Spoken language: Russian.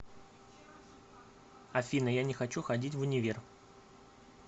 афина я не хочу ходить в универ